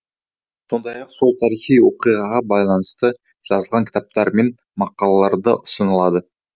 сондай ақ сол тарихи оқиғаға байланысты жазылған кітаптар мен мақалалар да ұсынылды